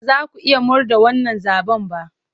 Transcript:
Ba za ku iya murde wannan zaɓen ba!